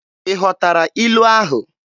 Ị ghọtara ilu ahụ?